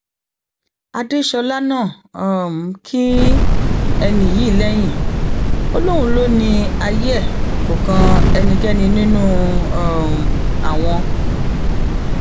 adéṣọlá náà um kín ẹni yìí lẹyìn ó lóun lọ ní ayé ẹ kó kan ẹnikẹni nínú um àwọn